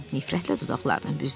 Nifrətlə dodaqlarını büzdü.